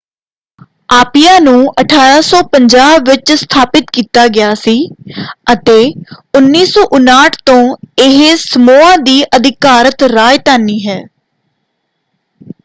Apia ਨੂੰ 1850 ਵਿੱਚ ਸਥਾਪਿਤ ਕੀਤਾ ਗਿਆ ਸੀ ਅਤੇ 1959 ਤੋਂ ਇਹ ਸਮੋਆ ਦੀ ਅਧਿਕਾਰਤ ਰਾਜਧਾਨੀ ਹੈ।